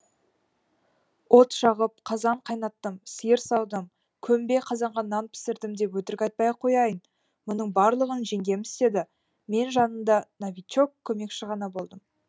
от жағып қазан қайнаттым сиыр саудым көмбе қазанға нан пісірдім деп өтірік айтпай ақ қояйын мұның барлығын жеңгем істеді мен жанында новичок көмекші ғана болдым